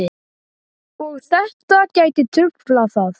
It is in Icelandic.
Og þetta gæti truflað það?